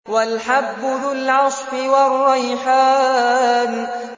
وَالْحَبُّ ذُو الْعَصْفِ وَالرَّيْحَانُ